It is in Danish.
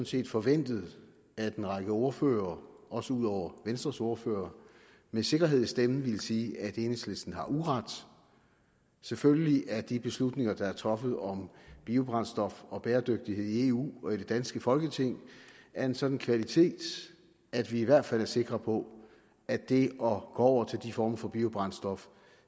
set forventet at en række ordførere også ud over venstres ordfører med sikkerhed i stemmen ville sige at enhedslisten har uret selvfølgelig er de beslutninger der er truffet om biobrændstof og bæredygtighed i eu og i det danske folketing af en sådan kvalitet at vi i hvert fald er sikre på at det at gå over til de former for biobrændstof